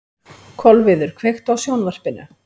Kolviður, kveiktu á sjónvarpinu.